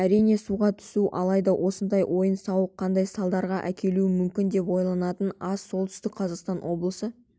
әрине суға түсу алайда осындай ойын-сауық қандай салдарға әкелуі мүмкін деп ойланатындар аз солтүстік қазақстан облысы